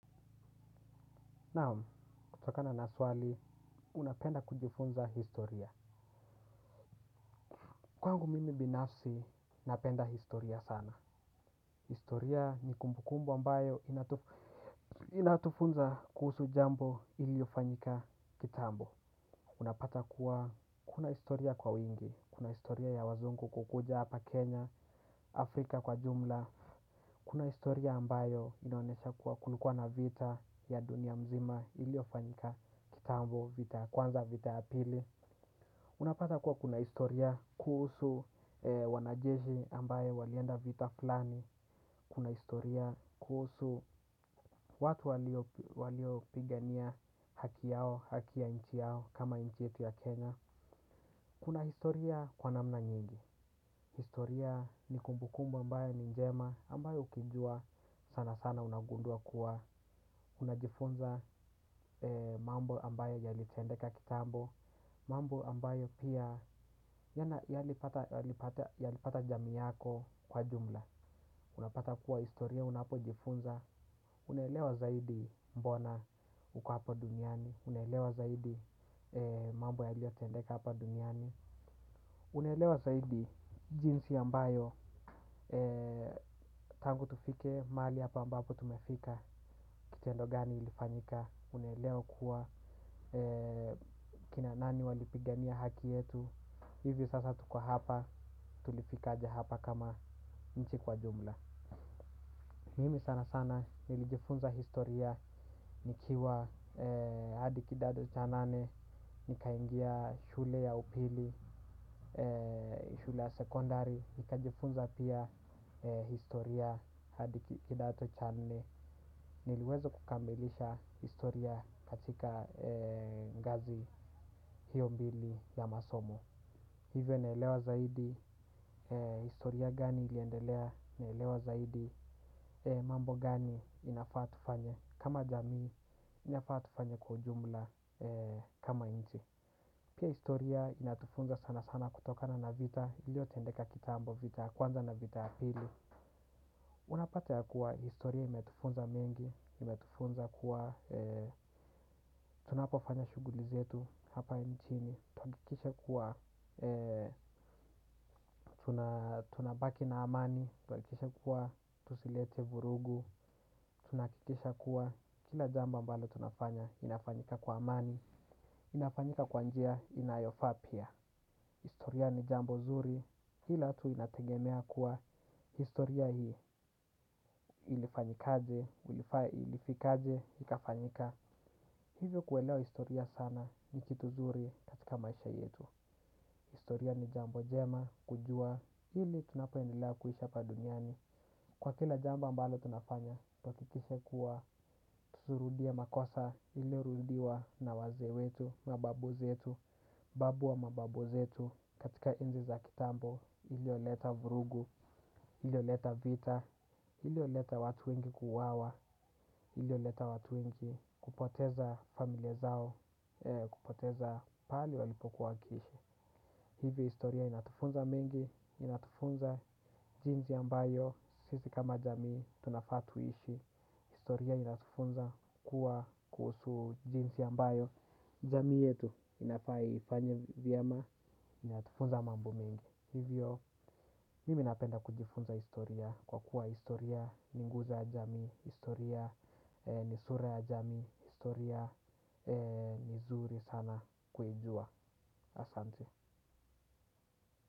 Naam, kutokana na swali, unapenda kujifunza historia. Kwangu mimi binafsi, napenda historia sana. Historia ni kumbukumbu ambayo inatufunza kuhusu jambo iliyofanyika kitambo. Unapata kuwa, kuna historia kwa wingi. Kuna historia ya wazungu kukuja hapa Kenya, Afrika kwa jumla. Kuna historia ambayo inaonesha kuwa kulikua na vita ya dunia mzima iliyofanyika kitambo vita. Kwanza vita ya pili, unapata kuwa kuna historia kuhusu wanajeshi ambaye walienda vita fulani, kuna historia kuhusu watu waliopigania haki yao, haki ya inchi yao, kama inchi yetu ya kenya. Kuna historia kwa namna nyingi, historia ni kumbukumbu ambayo ni njema ambayo ukiijua sana sana unagundua kuwa unajifunza mambo ambayo yalitendeka kitambo, mambo ambayo pia yalipata jamii yako kwa jumla. Unapata kuwa historia unapo jifunza, unaelewa zaidi mbona uko hapa duniani, unaelewa zaidi mambo yaliyotendeka hapa duniani. Unelewa zaidi jinsi ambayo tangu tufike mali hapa ambapo tumefika. Kitendo gani ilifanyika unaelewa kuwa kina nani walipigania haki yetu. Hivi sasa tuko hapa tulifikaje hapa kama nchi kwa jumla. Mimi sana sana nilijifunza historia nikiwa adi kidato cha nane. Ni kaingia shule ya upili, shule ya sekondari. Ni kajifunza pia historia hadi kidato channe. Niliweza kukamilisha historia katika ngazi hiyo mbili ya masomo. Hivyo naelewa zaidi historia gani iliendelea naelewa zaidi. Mambo gani inafaa tufanye kama jamii, inafaa tufanye kwa jumla kama inchi. Pia historia inatufunza sana sana kutokana na vita iliyo tendeka kitambo vita ya kwanza na vita ya pili. Unapata ya kuwa historia imetufunza mengi, imetufunza kuwa tunapofanya shuguli zetu hapa inchini. Tunahakikisha kuwa tunabaki na amani, tuhakikishe kuwa tusilete vurugu. Tunahakikisha kuwa kila jambo ambalo tunafanya inafanyika kwa amani, inafanyika kwanjia inayofa pia. Historia ni jambo zuri, hila tu inategemea kuwa, historia hii ilifanyikaje, ilifikaje, hika fanyika. Hivyo kuwelewa historia sana nikitu zuri katika maisha yetu. Historia ni jambo njema, kujua, hili tunapoendelea kuishi hapa duniani. Kwa kila jambo ambalo tunafanya, wahakikishe kuwa tusurudie makosa iliyorudiwa na wazee wetu, mababu zetu. Babu wa mababu zetu katika enzi za kitambo iliyoleta vurugu, iliyoleta vita, iliyoleta watu wengi kuwawa, iliyoleta watu wengi kupoteza familia zao, kupoteza pahali walipoku wakihishi. Hivyo historia inatufunza mengi, inatufunza jinzi ambayo, sisi kama jamii tunafaa tuishi. Historia inatufunza kuwa kuhusu jinzi ambayo, jamii yetu inafaa ifanye vyema, inatufunza mambo mengi. Hivyo, mimi napenda kujifunza historia kwa kuwa historia ni nguzo ya jamii, historia ni sura ya jamii, historia ni zuri sana kujua. Asante.